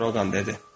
qroqan dedi.